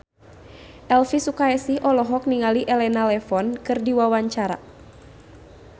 Elvi Sukaesih olohok ningali Elena Levon keur diwawancara